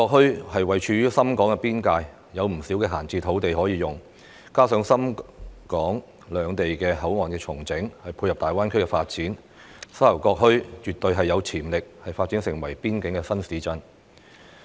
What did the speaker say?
沙頭角墟位處深港邊界，有不少閒置土地可用，加上深港兩地的口岸重整，配合大灣區發展，沙頭角墟絕對有潛力發展成為邊境新市鎮。